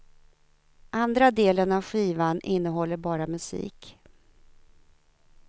Andra delen av skivan innehåller bara musik.